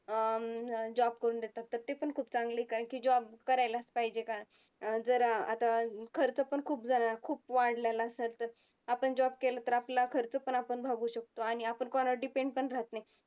अं job करून देतात तर ते पण खूप चांगले कारण की job करायलाच पाहिजे जर अं आता खर्च पण खूप झाला खूप वाढलेला असंन तर आपण job केला तर आपला खर्च पण आपण भागवू शकतो आणि आपण कोणावर depend पण राहत नाही.